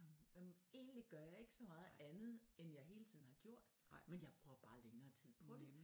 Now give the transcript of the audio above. Egentligt gør jeg ikke så meget andet end jeg hele tiden har gjort men jeg bruger bare længere tid på det